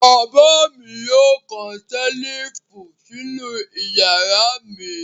Bàbá mi yóò kan ṣẹ́lífù sínú ìyàrá mi.